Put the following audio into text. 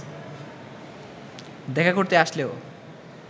দেখা করতে আসলেও